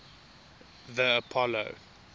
the apollo